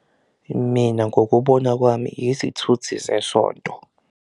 Mina ngokubona kwami izithuthi zesonto.